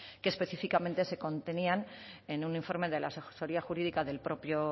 que específicamente se contenían en un informe de la asesoría jurídica del propio